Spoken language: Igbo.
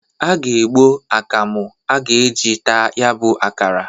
A ga-egbo akamu a ga-e ji taa ya bụ akara.